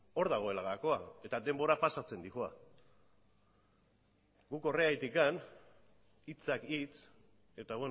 hor dagoela gakoa eta denbora pasatzen doa guk horregatik hitzak hitz eta